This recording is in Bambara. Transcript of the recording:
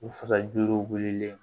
U fasa juruw wililen